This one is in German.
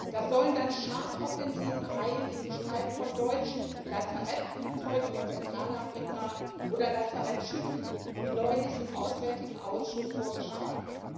Das sollen dann Charmeoffensiven heilen in Gestalt von deutschen Lazarettflugzeugen in Zentralafrika oder von Lazarettschiffen, wie neulich im Auswärtigen Ausschuss vorgeschlagen.